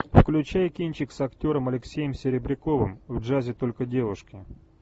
включай кинчик с актером алексеем серебряковым в джазе только девушки